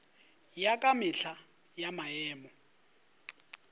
ya ka mehla ya maemo